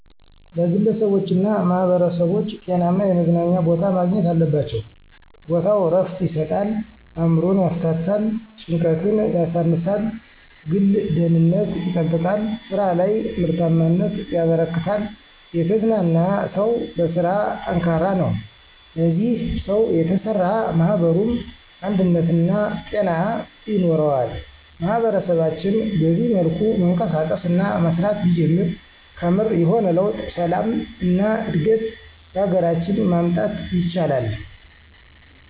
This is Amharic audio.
ለግለሰቦችና ማህበረሰቦች ጤናማ የመዝናኛ ቦታ ማግኘት አለባቸው። ቦታው ዕረፍት ይሰጣል፣ አእምሮን ያፍታታል፣ ጭንቀትን ያሳንሳል፣ ግል ደህንነት ይጠብቃል፣ ስራ ላይ ምርታማነት ያበረክታል። የተዝናና ሰው በስራ ጠንካራ ነው፣ በዚህ ሰው የተሰራ ማኅበሩም አንድነትና ጤና ይኖረዋል። ማህበረሰባችን በዚህ መልኩ መንቀሳቀስ እና መስራት ቢጀምር ከምር የሆነ ለውጥ፣ ሰላም እና እድገት በሀገራችን ማምጣት ይችላል።